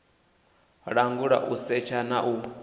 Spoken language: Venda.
langula u setsha na u